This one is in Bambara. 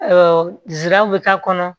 Awɔ nsiraw bi k'a kɔnɔ